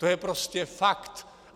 To je prostě fakt.